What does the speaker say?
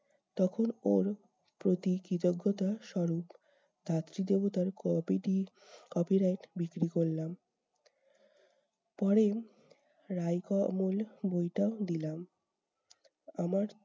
তখন ওর প্রতি কৃতজ্ঞতা স্বরূপ ধাত্রীদেবতার copy টি copyright বিক্রি করলাম। পরে রাই ক মল বইটাও দিলাম আমার